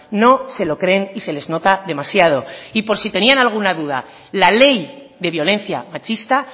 no se lo creen y se les nota demasiado y por si tenían alguna duda la ley de violencia machista